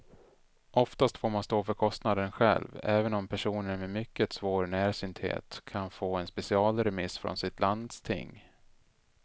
Oftast får man stå för kostnaden själv, även om personer med mycket svår närsynthet kan få en specialremiss från sitt landsting.